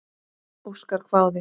Óskar hváði.